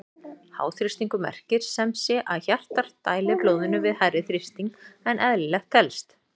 Háþrýstingur merkir sem sé að hjartað dælir blóðinu við hærri þrýsting en eðlilegt telst.